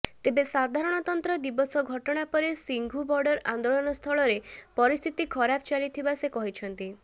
ତେବେ ସାଧାରଣତନ୍ତ୍ର ଦିବସ ଘଟଣା ପରେ ସିଂଘୁ ବର୍ଡର ଆନ୍ଦୋଳନସ୍ଥଳରେ ପରିସ୍ଥିତି ଖରାପ ଚାଲିଥିବା ସେ କହିଛନ୍ତି